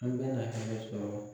An bɛna hɛnɛ sɔrɔ.